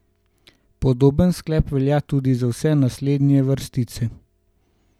Podoben sklep velja tudi za vse naslednje vrstice.